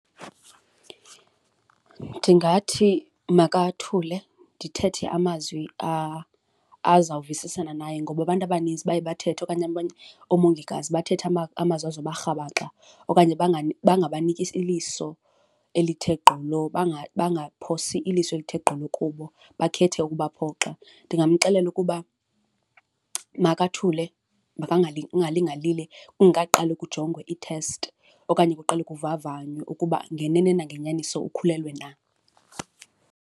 Ndingathi makathule, ndithethe amazwi azawuvisisana naye ngoba abantu abanintsi baye bathethe okanye abanye oomongikazi bathethe amazwi azoba rhabaxa okanye bangabaniki iliso elithe gqolo, bangaphosi iliso elithe gqolo kubo bakhethe ukuba phoxa. Ndingamxelela ukuba makathule, angalinge alile kungaqali kujongwe iithesti okanye kuqalwe kuvavanye ukuba ngenene nangenyaniso ukhulelwe na.